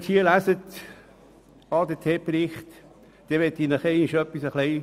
Ich möchte Ihnen nun verbildlichen, was dieser ADT-Bericht beinhaltet.